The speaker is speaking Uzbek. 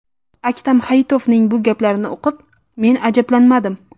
Aktam Hayitovning bu gaplarini o‘qib men ajablanmadim.